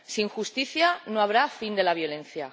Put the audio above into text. Sin justicia no habrá fin de la violencia.